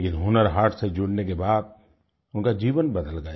लेकिन हुनर हाट से जुड़ने के बाद उनका जीवन बदल गया